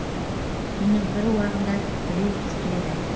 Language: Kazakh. түннің бір уағында біреу түртеді